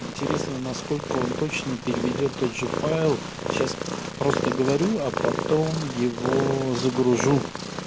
интересно насколько он точно переведёт тот же файл сейчас просто говорю а потом его загружу